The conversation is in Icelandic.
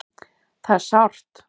Það er sárt